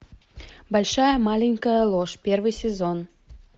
большая маленькая ложь первый сезон